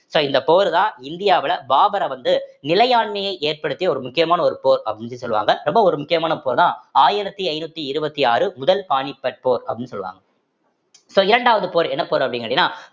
so இந்த போர்தான் இந்தியாவில பாபரை வந்து நிலையாண்மையை ஏற்படுத்திய ஒரு முக்கியமான ஒரு போர் அப்படின்னு சொல்லுவாங்க ரொம்ப ஒரு முக்கியமான போர்தான் ஆயிரத்தி ஐந்நூத்தி இருவத்தி ஆறு முதல் பானிபட் போர் அப்படீன்னு சொல்லுவாங்க so இரண்டாவது போர் என்ன போர் அப்படீன்னு கேட்டீங்கன்னா